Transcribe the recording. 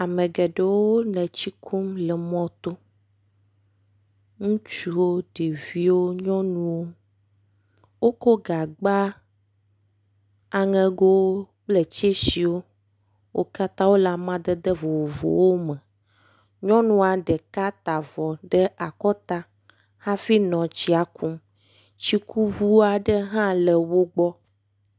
ame geɖewo le tsi kum le mɔto ŋutsuwo ɖeviwo nyɔnuwo woko gagba aŋegowo kple tsɛsiwo wókatã wóle amadede vovovowo me nyɔnua ɖeka tavɔ ɖe akɔta hafi nɔ tsia kum tsikuʋuaɖe hã le wógbɔ